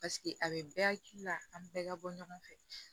Paseke a bɛ bɛɛ hakili la an bɛɛ ka bɔ ɲɔgɔn fɛ